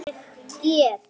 Ég get ekki beðið.